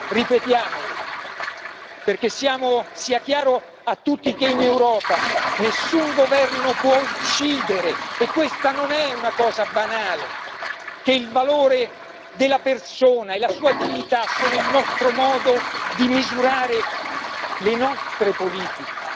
Ripetiamolo perché sia chiaro a tutti che in Europa nessun governo può uccidere e questa non è una banalità il valore della persona e la sua dignità sono il nostro modo di misurare le nostre politiche